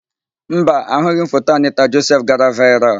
Mba, ahụghị m foto Anịta Josef gara vaịral.